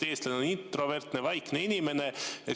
Eestlane on introvertne, vaikne inimene.